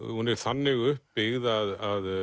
hún er þannig uppbyggð að